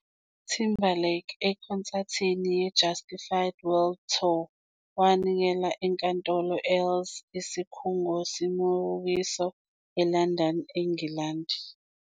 Timberlake ekhonsathini ye Justified World Tour wanikela eNkantolo Earls Isikhungo semibukiso e London, eNgilandi.